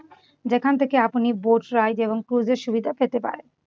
সেখান থেকে আপনি boat ride পূর্বের সুবিধা পেতে পারেন।